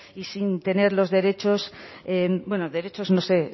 y sin tener los derechos bueno derechos no sé